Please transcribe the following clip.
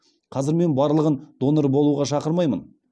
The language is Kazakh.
қазір мен барлығын донор болуға шақырмаймын